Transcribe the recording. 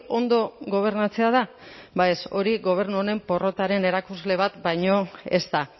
ondo gobernatzea da ba ez hori gobernu honen porrotaren erakusle bat baino ez da